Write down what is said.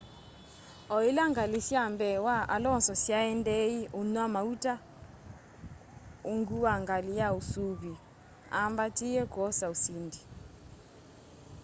o ila ngali syai mbee wa alonso syaendie unywa mauta ungu wa ngali ya usuvîi aambatie kwosa usindi